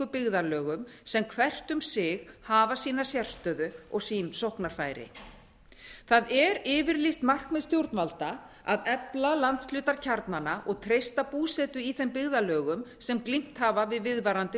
byggðarlögum sem hvert um sig hafa sína sérstöðu og sín sóknarfæri það er yfirlýst markmið stjórnvalda að efla landshlutakjarnana og treysta búsetu í þeim byggðarlögum sem glímt hafa við viðvarandi